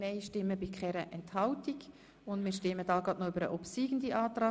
Wir kommen zur Abstimmung über den obsiegenden Antrag.